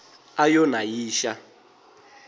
a yo na yi xa